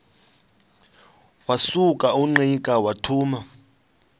wasuka ungqika wathuma